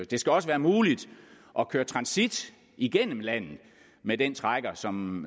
det skal også være muligt at køre transit igennem landet med den trækker som